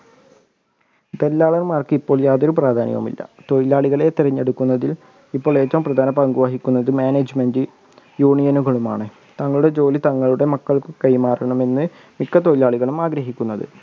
ദല്ലാളന്മാർക്ക് ഇപ്പൊ യാതൊരു പ്രാധാന്യവും ഇല്ല തൊഴിലാളികളെ തിരഞ്ഞെടുക്കുന്നത് ഇപ്പോൾ ഏറ്റവു പ്രധാനപങ്കുവഹിക്കുന്നത് management union കളും ആണ് താങ്കളുടെ ജോലി താങ്കളുടെ മക്കൾക്ക് കൈമാറണം എന്ന് മിക്ക തൊഴിലാളികളും ആഗ്രഹിക്കുന്നത്.